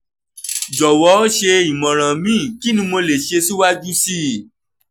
jọwọ ṣe imọran mi kini mo le ṣe siwaju sii